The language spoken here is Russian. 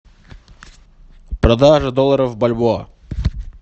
продажа доллара в бальбоа